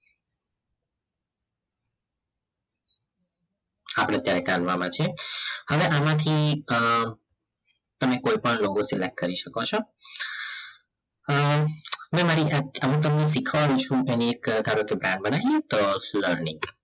આપણે અત્યારે કાલવામાં છે હવે આમાંથી તમે કોઈપણ કરી શકો છો મેં મારી જાત અમુ તને શીખવાડું છું એક ધારો કે બનાવી લઈએ તો ની